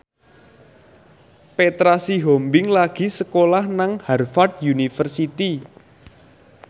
Petra Sihombing lagi sekolah nang Harvard university